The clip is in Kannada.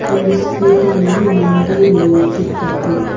ಒಂದು ಸ್ಕೂಟಿ ಯನ್ನು ಮುಂದೆ ನಿಲ್ಲಿಸಿದ್ದಾರೆ.